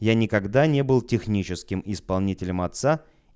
я никогда не был техническим исполнителем отца